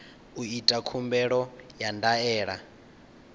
u ita khumbelo ya ndaela